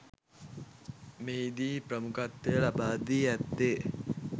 මෙහිදී ප්‍රමුඛත්වය ලබා දී ඇත්තේ